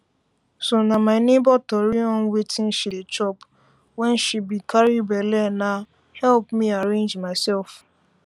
so na my neighbor tori on wetin she dey chop wen she be carry belle na help me arrange myself